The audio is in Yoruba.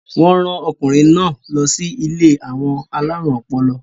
wọ́n rán ọkùnrin náà lọ sí ilé àwọn alárùn ọpọlọ